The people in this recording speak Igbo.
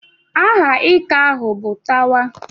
Aha ika ahụ bụ Tawa.